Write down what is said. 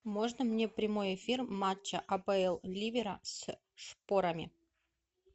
можно мне прямой эфир матча апл ливера с шпорами